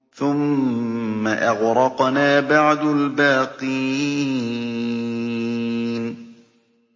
ثُمَّ أَغْرَقْنَا بَعْدُ الْبَاقِينَ